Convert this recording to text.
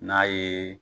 N'a ye